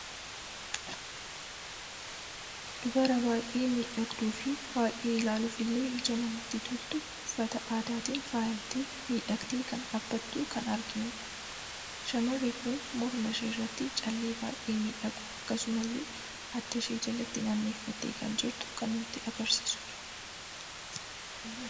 Dubara baay'ee miidhagduu fi baay'ee ilaaluufille ija namatti toltu, uffata aadaatiin faayamtee, miidhagde kan dhabbatu kan arginudha. shamarri kun mormaa ishee irratti callee baay'ee miidhagu akkasumslle addaa ishee jaalatti naanneffatte kan jirtu kan nutti agarsiidudha.